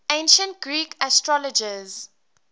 ancient greek astrologers